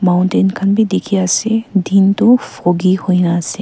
Mountain khan bi dekhi ase din toh foggy hoina ase.